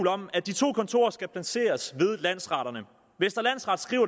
om at de to kontorer skal placeres ved landsretterne vestre landsret skriver